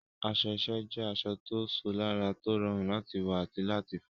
Aṣọ iṣẹ́ jẹ́ aṣọ tó ṣò lára, tó rọrùn láti wọ̀ àti láti fọ̀.